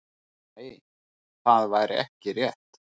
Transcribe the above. Nei, það væri ekki rétt.